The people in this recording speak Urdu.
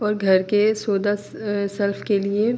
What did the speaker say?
اور گھر کے سلف کے لئے--